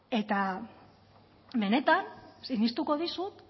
eta benetan sinistuko dizut